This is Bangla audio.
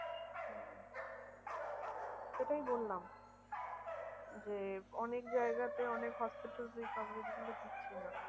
সেটাই বললাম যে অনেক জায়গাতে অনেক hospitals এই coverage গুলো দিচ্ছে না।